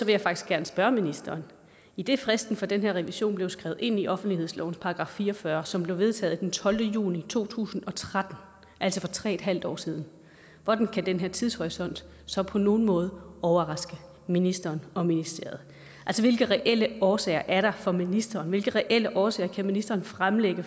jeg faktisk gerne spørge ministeren idet fristen for den her revision blev skrevet ind i offentlighedslovens § fire og fyrre som blev vedtaget den tolvte juni to tusind og tretten altså for tre en halv år siden hvordan kan den her tidshorisont så på nogen måde overraske ministeren og ministeriet altså hvilke reelle årsager er der for ministeren hvilke reelle årsager kan ministeren fremlægge